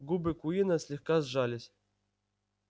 губы куинна слегка сжались